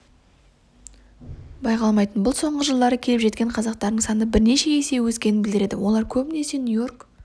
байқалмайтын бұл соңғы жылдары келіп жатқан қазақтардың саны бірнеше есеге өскенін білдіреді олар көбіне нью-йорк